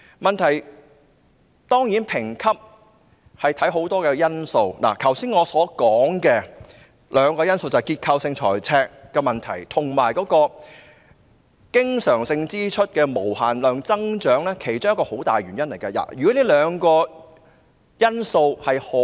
問題是，評級會考慮很多因素，包括我剛才所說的兩個問題——即結構性財赤和經常性支出無限增長——也是箇中很大的原因。